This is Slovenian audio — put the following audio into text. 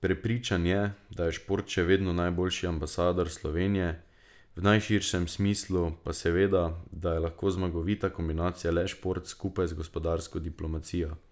Prepričan je, da je šport še vedno najboljši ambasador Slovenije v najširšem smislu, se pa zaveda, da je lahko zmagovita kombinacija le šport skupaj z gospodarsko diplomacijo.